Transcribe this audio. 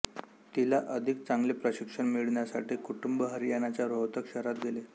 तिला अधिक चांगले प्रशिक्षण मिळण्यासाठी कुटुंब हरियाणाच्या रोहतक शहरात गेले